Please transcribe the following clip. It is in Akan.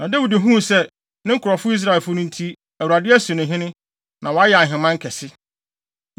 Na Dawid huu sɛ, ne nkurɔfo Israelfo nti, Awurade asi no hene, na wayɛ nʼaheman kɛse.